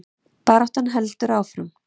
Baráttan heldur áfram